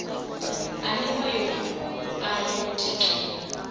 aniwa yo bua yo tikiwa